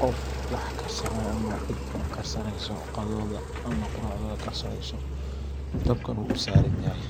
qof wax karsanaya ama cid wax karsanesa qadadodha ama quracdodha karsaneso dibkuna u u saran yahay.